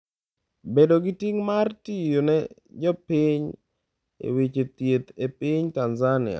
Bedo gi ting’ mar tiyo ne jopiny e weche thieth e piny Tanzania